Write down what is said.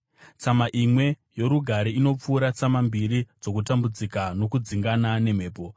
Tsama imwe yorugare inopfuura tsama mbiri dzokutambudzika nokudzingana nemhepo.